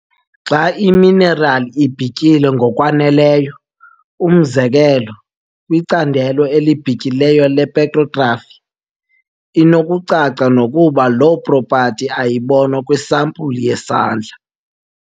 Xa iminerali ibhityile ngokwaneleyo, umzekelo, kwicandelo elibhityileyo lepetrografi, inokucaca nokuba loo propati ayibonwa kwisampulu yesandla.